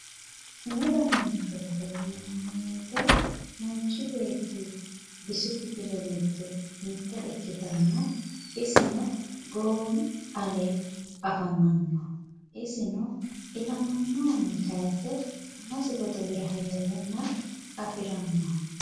Umu dananchooti yinanniwoyite manchi beettira bisu kifile giddo mitte ikkitanna isino goowi alee afamanno isino ilamihunni hanafe amasi godowira heerenni afiranno